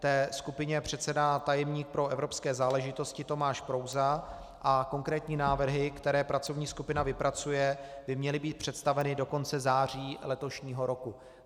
Té skupině předsedá tajemník pro evropské záležitosti Tomáš Prouza a konkrétní návrhy, které pracovní skupina vypracuje, by měly být představeny do konce září letošního roku.